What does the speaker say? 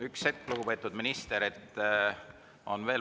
Üks hetk, lugupeetud minister.